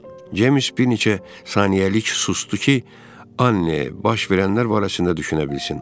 James bir neçə saniyəlik susdu ki, Anne baş verənlər barəsində düşünə bilsin.